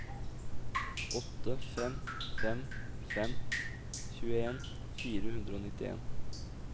åtte fem fem fem tjueen fire hundre og nittien